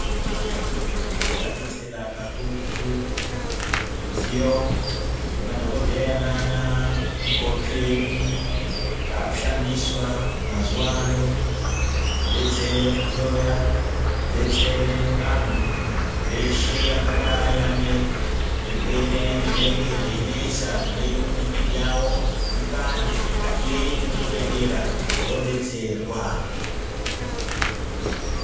Zvadetsera kakurutu zvidziyo zvemadhokodeheya nanamukoti edu zvaakushandiswa mazuwa ano kudetsere kuhloya kudetsere anhu eshe angadai ane zvirwere zvinenge zveinesa zvinoite kuti mwiri yawo ipande ,ngatiende kuzvibhehleya toodetserwa.